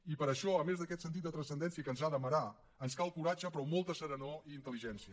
i per això a més d’aquest sentit de transcendència que ens ha d’amarar ens cal coratge però molta serenor i intel·ligència